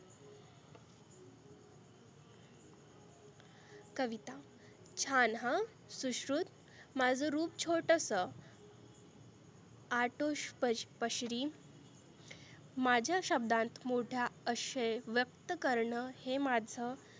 कविता छान हं सुश्रुत माझं रुप छोटसं आठु पशरी माझ्या शब्दांत मोठा आशय व्यक्त करण हे माझं